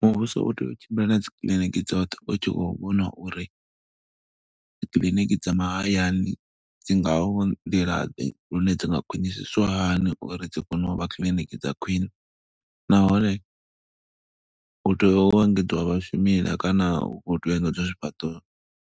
Muvhuso u tea u tshimbila na dzi kiḽiniki dzoṱhe, u tshi khou vhona uri dzikiḽiniki dza mahayani dzi nga nḓila ḓe. Lune dzi nga khwinisiswa hani uri dzi kone u vha kiḽiniki dza khwiṋe. Nahone hu tea u engedziwa vhashumila kana hu khou teya engedzwa zwifhaṱo